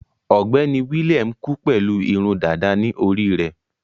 Ọ̀gbẹ́ni William kú pẹ̀lú irun dàda ní orí rẹ̀.